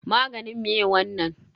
Maganin me wannan?